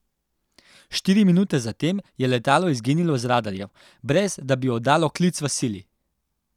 Štiri minute zatem je letalo izginilo z radarjev, brez, da bi oddalo klic v sili.